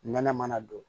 Nɛnɛ mana don